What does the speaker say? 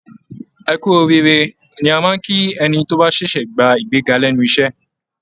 "Ẹ kú oríire" ni a máa ń kí ẹni tó bá ṣẹ̀ṣẹ̀ gba ìgbéga lẹ́nu iṣẹ́